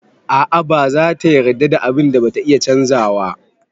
A'a ba zata yarda da abun da bata iya canzawa.